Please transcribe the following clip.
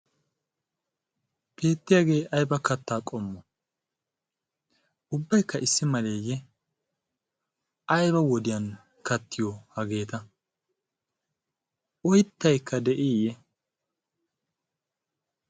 Beettiyaagee ayba kattaa qommo ubbaikka issi maleeyye aiba wodiyan kattiyo hageeta oyttaikka de'iiyye?